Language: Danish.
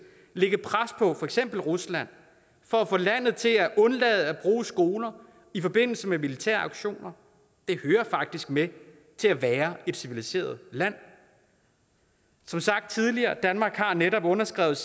lægge pres på for eksempel rusland for at få landet til at undlade at bruge skoler i forbindelse med militære aktioner det hører faktisk med til at være et civiliseret land som sagt tidligere har danmark netop underskrevet